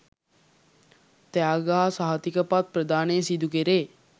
ත්‍යාග හා සහතික පත් ප්‍රදානය සිදු කෙරේ.